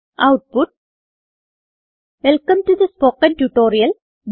output welcome to the spoken tutorial